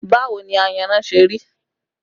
Báwo ni ayanran ṣe rí?